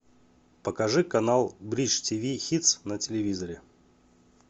покажи канал бридж тиви хитс на телевизоре